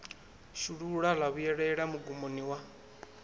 shulula ḽa vhuelela mugumoni wa